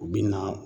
U bi na